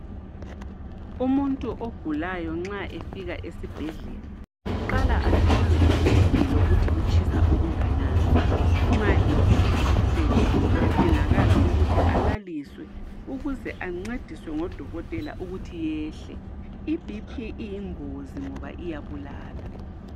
Umuntu ogulayo nxa efika esibhedlela uqala ahlolwe iBP, lokuthi utshisa kangnani. Nxa iBP, ikhwelile, kuyadingakala uukuthi alaliswe ukuze ancediswe ngodokotela ukuthi yehle. IBP iyingozi ngoba iyabulala.